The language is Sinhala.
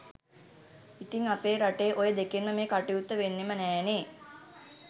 ඉතිං අපේ රටේ ඔය දෙකෙන්ම මේ කටයුත්ත වෙන්නෙම නෑනේ